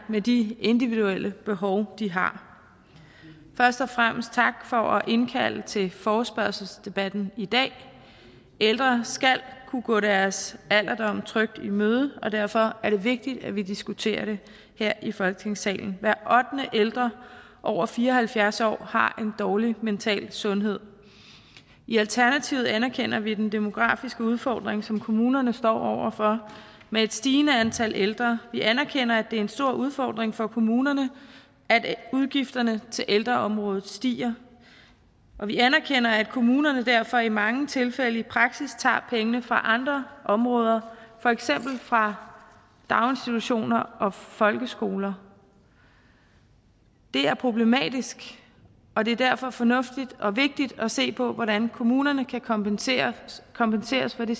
med de individuelle behov de har først og fremmest tak for at indkalde til forespørgselsdebatten i dag ældre skal kunne gå deres alderdom trygt i møde og derfor er det vigtigt at vi diskuterer det her i folketingssalen hver ottende ældre over fire og halvfjerds år har en dårlig mental sundhed i alternativet anerkender vi den demografiske udfordring som kommunerne står over for med et stigende antal ældre vi anerkender at det er en stor udfordring for kommunerne at udgifterne til ældreområdet stiger og vi anerkender at kommunerne derfor i mange tilfælde i praksis tager pengene fra andre områder for eksempel fra daginstitutioner og folkeskoler det er problematisk og det er derfor fornuftigt og vigtigt at se på hvordan kommunerne kan kompenseres kompenseres for de